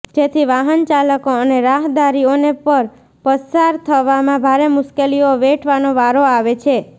જેથી વાહનચાલકો અને રાહદારીઓને પણ પસાર થવામાં ભારે મુશ્કેલીઓ વેઠવાનો વારો આવે છે